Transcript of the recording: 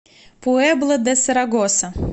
пуэбла де сарагоса